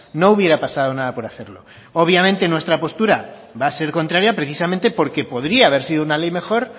no hubiera pasado nada por hacerlo obviamente nuestra postura va a ser contraria precisamente porque podría haber sido una ley mejor